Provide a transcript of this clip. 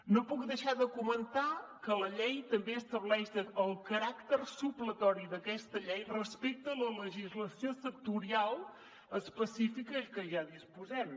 no puc deixar de comentar que la llei també estableix el caràcter supletori d’aquesta llei respecte a la legislació sectorial específica i de què ja disposem